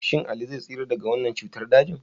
Shin Ali zai tsira daga wannan cutar dajin?